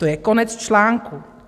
To je konec článku.